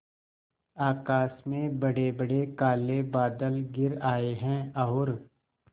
आकाश में बड़ेबड़े काले बादल घिर आए हैं और